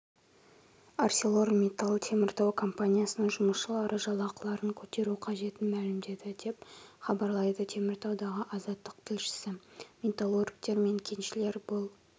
арселормитталтеміртау компаниясының жұмысшылары жалақыларын көтеру қажетін мәлімдеді деп хабарлайды теміртаудағы азаттық тілшісі металлургтер мен кеншілер бұл